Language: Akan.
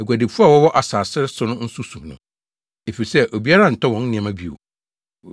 “Aguadifo a wɔwɔ asase so nso su no, efisɛ obiara ntɔ wɔn nneɛma bio.